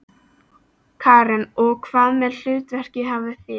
Karen: Og hvaða hlutverk hafið þið?